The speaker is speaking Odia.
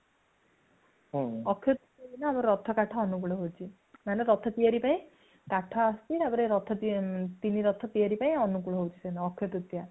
ଅକ୍ଷିତୃତୀୟା ଦିନ ଆମର ରଥ କାଠ ଅନୁକୂଳ ହେଉଛି ରଥ ତିଆରି ପାଇଁ କାଠ ଆସୁଛି ତାପରେ ରଥ, ତିନି ରଥ ତିଆରି ପାଇଁ ଅନୁକୂଳ ହେଉଛି ସେ ଦିନ ଅକ୍ଷିତୃତୀୟା |